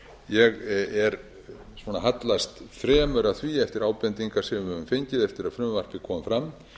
ég hallast fremur að því eftir ábendingar sem við höfum fengið eftir að frumvarpið kom fram